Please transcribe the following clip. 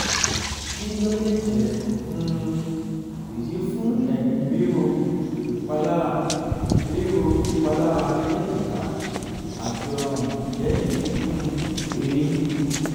ki lo le jẹ um idi fun eyin riro ipalara riro ipalara ni ejika ati ọrun lẹhin kikun eyin?